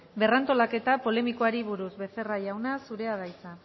berrantolaketa polemikari buruz becerra jauna zurea da hitza